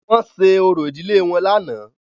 Wọ́n ṣe orò ìdílé wọn lánàá.